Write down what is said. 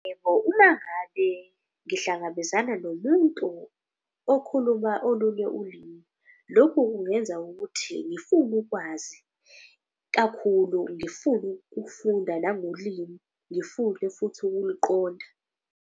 Uma ngabe ngihlangabezana nomuntu okhuluma olunye ulimi, lokhu kungenza ukuthi ngifune ukwazi kakhulu. Ngifune ukufunda nangolimi, ngifune futhi ukuluqonda.